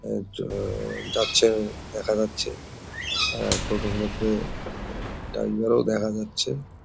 এটা যাচ্ছে দেখা যাচ্ছে আর টোটোর মধ্যে টাইগার ও দেখা যাচ্ছে।